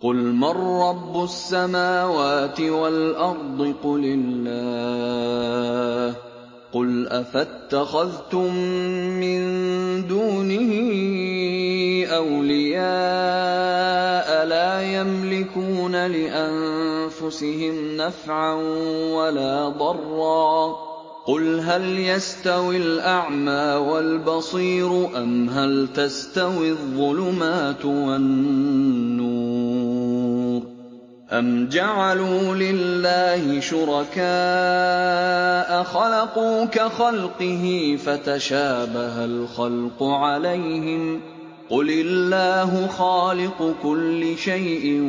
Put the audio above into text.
قُلْ مَن رَّبُّ السَّمَاوَاتِ وَالْأَرْضِ قُلِ اللَّهُ ۚ قُلْ أَفَاتَّخَذْتُم مِّن دُونِهِ أَوْلِيَاءَ لَا يَمْلِكُونَ لِأَنفُسِهِمْ نَفْعًا وَلَا ضَرًّا ۚ قُلْ هَلْ يَسْتَوِي الْأَعْمَىٰ وَالْبَصِيرُ أَمْ هَلْ تَسْتَوِي الظُّلُمَاتُ وَالنُّورُ ۗ أَمْ جَعَلُوا لِلَّهِ شُرَكَاءَ خَلَقُوا كَخَلْقِهِ فَتَشَابَهَ الْخَلْقُ عَلَيْهِمْ ۚ قُلِ اللَّهُ خَالِقُ كُلِّ شَيْءٍ